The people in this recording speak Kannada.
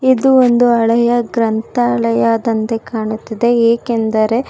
ಇದು ಒಂದು ಹಳೆಯ ಗ್ರಂಥಾಲಯದಂತೆ ಕಾಣುತ್ತಿದೆ ಏಕೆಂದರೆ.